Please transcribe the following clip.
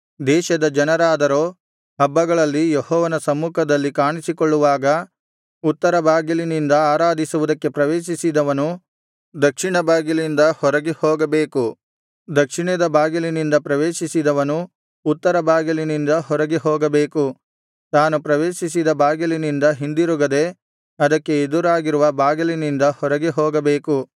ದೇಶದ ಜನರಾದರೋ ಹಬ್ಬಗಳಲ್ಲಿ ಯೆಹೋವನ ಸಮ್ಮುಖದಲ್ಲಿ ಕಾಣಿಸಿಕೊಳ್ಳುವಾಗ ಉತ್ತರ ಬಾಗಿಲಿನಿಂದ ಆರಾಧಿಸುವುದಕ್ಕೆ ಪ್ರವೇಶಿಸಿದವನು ದಕ್ಷಿಣ ಬಾಗಿಲಿಂದ ಹೊರಗೆ ಹೋಗಬೇಕು ದಕ್ಷಿಣದ ಬಾಗಿಲಿನಿಂದ ಪ್ರವೇಶಿಸಿದವನು ಉತ್ತರ ಬಾಗಿಲಿನಿಂದ ಹೊರಗೆ ಹೋಗಬೇಕು ತಾನು ಪ್ರವೇಶಿಸಿದ ಬಾಗಿಲಿನಿಂದ ಹಿಂದಿರುಗದೆ ಅದಕ್ಕೆ ಎದುರಾಗಿರುವ ಬಾಗಿಲಿಂದ ಹೊರಗೆ ಹೋಗಬೇಕು